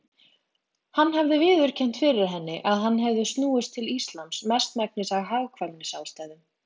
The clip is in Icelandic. Hann hafði viðurkennt fyrir henni að hann hefði snúist til Íslams mestmegnis af hagkvæmnisástæðum.